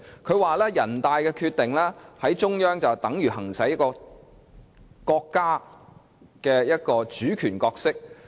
她又指人大《決定》等於中央行使了國家主權角色。